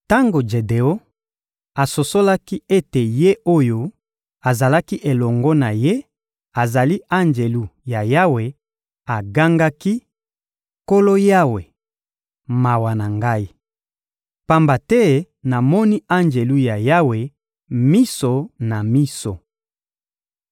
Tango Jedeon asosolaki ete Ye oyo azalaki elongo na ye azali Anjelu ya Yawe, agangaki: «Nkolo Yawe, mawa na ngai! Pamba te namoni Anjelu ya Yawe, miso na miso.»